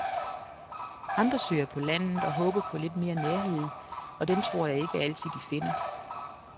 Andre søger på landet og håber på lidt mere nærhed, og den tror jeg ikke altid, de finder.